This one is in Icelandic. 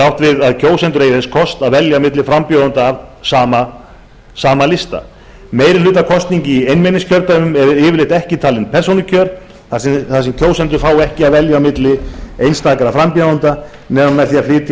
átt við að kjósendur eigi þess kost að velja á milli frambjóðenda af sama lista meirihlutakosning í einmenningskjördæmum er yfirleitt ekki talin persónukjör þar sem kjósendur fá ekki að velja milli einstakra frambjóðenda nema með því að flytja